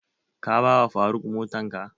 Ka ba wa faruk motan ka?